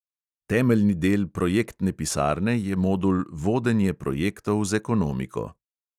Temeljni del projektne pisarne je modul vodenje projektov z ekonomiko.